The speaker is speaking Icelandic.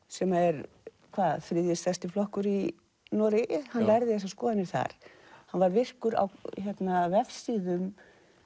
sem er þriðji stærsti flokkur í Noregi hann lærði þessar skoðanir þar hann var virkur á vefsíðum